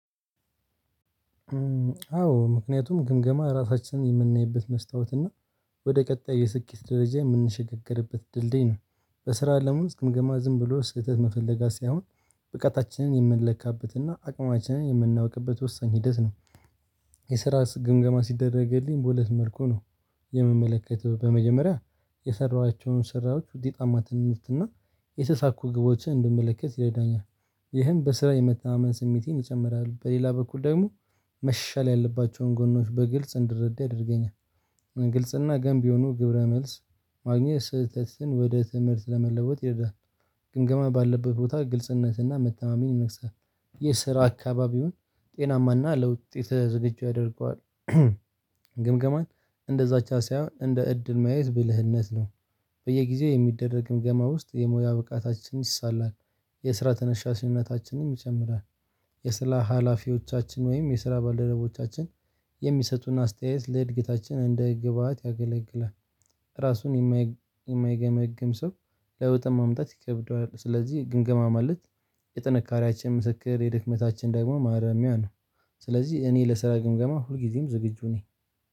አዎ ምክንያቱም ግምገማ ራሳችንን የምናይበት መስታወት እና ወደ ቀጣይ የስኬት ደረጃ የምንሸጋገርበት ድልድይ ነው በስራ ለሙሉ ግምገማ ዝም ብሎ ስህተት መፈለጋ ሳይሆን ብቃታችንን የምንለካበትና አቅማችንን የምናውቅበት ወሳኝ ሂደት ነው። የስራ ግምገማ ሲደረግልኝ በሁለት መልኩ ነው። የሚመለከተው በመጀመሪያ የሰራኋቸውን ስራዎች ውጤታማ ትንሽትና የተሳኩ ግቦችን እንድመለከት ይረዳኛል። ይህን በስራ የመተማመን ስሜቴን ይጨምራል። በሌላ በኩል ደግሞ መሻሻል ያለባቸውን ጎኖች በግልጽ እንድረዳ ያደርገኛል። ግልጽና ገንቢ የሆኑ ግብረ መልስ ማግኘት ስህተትን ወደ ትምህርት ለመለወጥ ይሄዳል። ግምገማ ባለበት ቦታ ግልጽነትና መተማመን ይነግሳል። የስራ አካባቢውን ጤናማና ለለውጥ የተዘጋጀው ያደርገዋል። ግምገማን እንደዛች ሳይሆን እንደ እድል ማየት ብልህነት ነው። በየጊዜው የሚደረግ ግምገማ ውስጥ የሙያ ብቃታችንን ይሳላል የስራ ተነሻሽነታችንም ይጨምራል። የስራ ሀላፊዎቻችን ወይም የስራ ባልደረቦቻችን የሚሰጡን አስተያየት ለእድገታችን እንደ ግብአት ያገለግላል። ራሱን የማይገመግም ሰው ለውጥም ማምጣት ይከብደዋል። ስለዚህ ግምገማ ማለት የጥንካሬያችን ምስክር የድክመታችን ደግሞ ማረሚያ ነው። ስለዚህ እኔ ለስራ ግምገማ ሁልጊዜም ዝግጁ ነኝ።